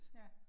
Ja